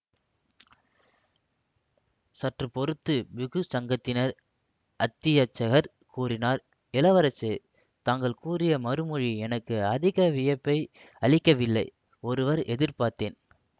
சற்றுப்பொறுத்து பிக்ஷு சங்கத்தின் அத்தியட்சகர் கூறினார் இளவரசே தாங்கள் கூறிய மறுமொழி எனக்கு அதிக வியப்பை அளிக்கவில்லை ஒருவார் எதிர்பார்த்தேன்